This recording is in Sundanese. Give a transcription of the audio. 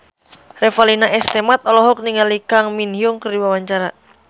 Revalina S. Temat olohok ningali Kang Min Hyuk keur diwawancara